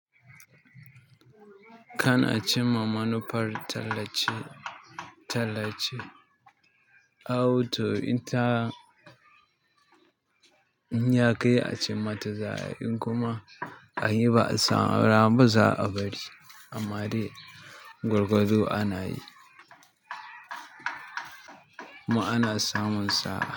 Kana cimma manufar tallace-tallace, awu to inta in ya kai a cimma ta za'ai in kuma a yi ba a samu rana mu za a bari. Amma dai gwargwado ana yi. Kuma ana samun sa'a.